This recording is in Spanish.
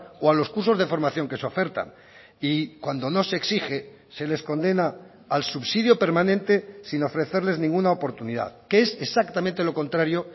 o a los cursos de formación que se ofertan y cuando no se exige se les condena al subsidio permanente sin ofrecerles ninguna oportunidad que es exactamente lo contrario